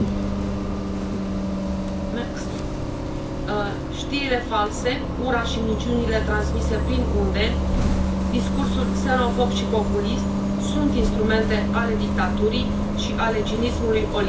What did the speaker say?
Doamnă președintă, știrile false, ura și minciunile transmise prin unde, discursul xenofob și populist sunt instrumente ale dictaturii și ale cinismului oligarhilor și ipocriților.